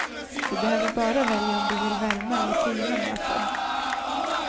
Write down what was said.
Du behöver bara välja om du vill värma eller tina maten.